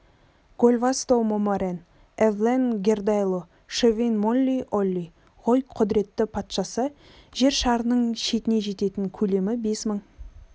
гольбасто момарен эвлем гердайло шефин молли олли ғой құдіретті патшасы жер шарының шетіне жететін көлемі бес мың